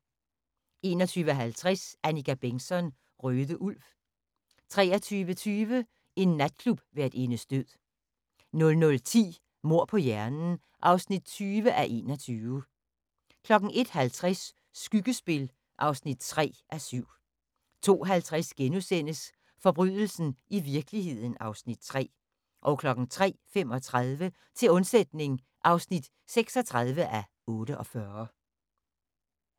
21:50: Annika Bengtzon: Røde ulv 23:20: En natklubværtindes død 00:10: Mord på hjernen (20:21) 01:50: Skyggespil (3:7) 02:50: Forbrydelsen i virkeligheden (Afs. 3)* 03:35: Til undsætning (36:48)